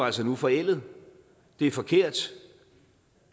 altså nu forældet det er forkert